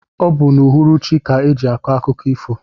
Ọ bu n' uhuruchi ka eji akọ akụkọ ifo.